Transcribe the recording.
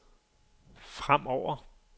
fremover